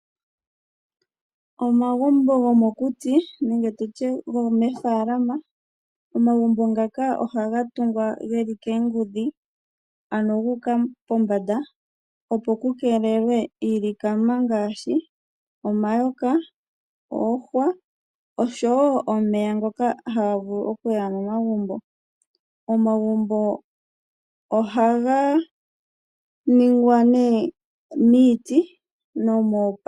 Omagumbo gomokuti nenge nditye omagumbo gomoofaalama. Omagumbo ngaka ohaga tungwa geli koongudhi guuka pombanda opo kukeelelwe iilikama ngaashi omayoka, oohwa oshowo omeya ngoka haga vulu okuya momagumbo. Omagumbo ohaga ningwa nee niiti.